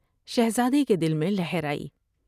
شہزادے کے دل میں لہر آئی ۔